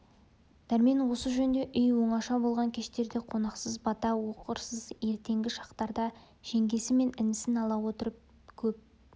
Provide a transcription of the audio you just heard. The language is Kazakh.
дәрмен осы жөнде үй оңаша болған кештерде қонақсыз бата оқырсыз ертеңгі шақтарда жеңгесі мен інісін ала отырып көп